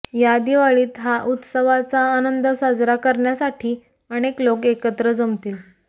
या दिवाळीत हा उत्सवाचा आनंद साजरा करण्यासाठी अनेक लोक एकत्र जमतील